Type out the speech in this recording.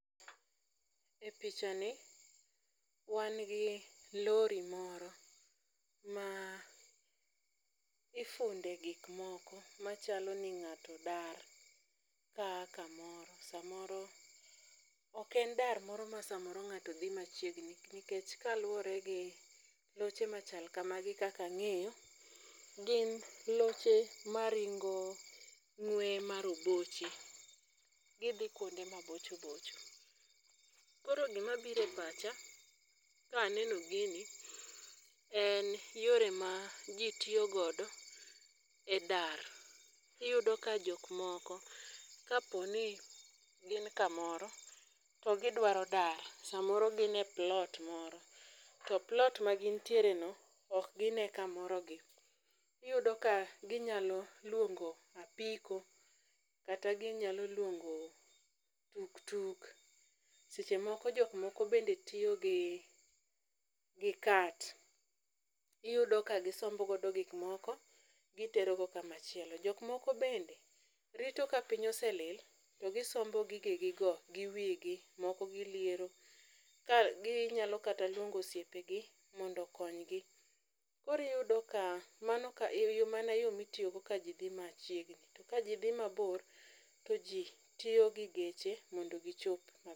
E pichani wan gi lori moro ma ifunde gik moko machalo ni ng'ato dar ka aa kamoro. Samoro ok en dar ma samoro ng'ato dhi machiegni nikech ka luwore gi loche machal kamagi kaka ang'eyo gin loche maringo ng'we ma roboche. Gidhi kuonde ma bocho bocho. Koro gima biro e pacha ka aneno gini en yore ma ji tiyogodo e dar. Iyudo ka jok moko kapo ni gin kamoro to gidwaro dar. Samoro gin e plot moro, to plot ma gintiere no ok gine ka morogi. Iyudo ka ginyalo luongo apoko. Kata ginyalo luongo tuk tuk. Seche moko jok moko bende tiyo gi cart. Iyudo ka simbogo go gikmoko gitero go kamachielo. Jok moko bende rito ka piny oselil to gisombo gike gigo gi wigi woko giliero. Ginyalo kata luongo osiepe gi mondo okony gi. Koro iyudo ka mano ka yo mano yo mitiyogo ka ji dhi machiegni. To ka ji dhi mabir to ji tiyo gi geche mondo gichop